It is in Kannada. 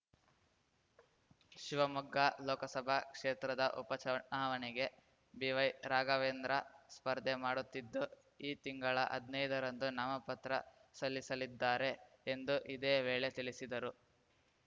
ಶಿವಮೊಗ್ಗ ಲೋಕಸಭಾ ಕ್ಷೇತ್ರದ ಉಪ ಚುನಾವಣೆಗೆ ಬಿವೈ ರಾಘವೇಂದ್ರ ಸ್ಪರ್ಧೆ ಮಾಡುತ್ತಿದ್ದು ಈ ತಿಂಗಳ ಹದ್ನೈದರಂದು ನಾಮಪತ್ರ ಸಲ್ಲಿಸಲಿದ್ದಾರೆ ಎಂದು ಇದೇ ವೇಳೆ ತಿಳಿಸಿದರು